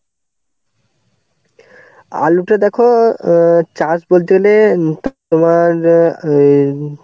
আলুটা দেখো অ্যাঁ চাষ বলতে হলে তোমার ওই